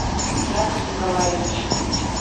яков николаевич